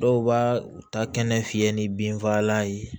Dɔw b'a u ta kɛnɛ fiyɛ ni binfagalan ye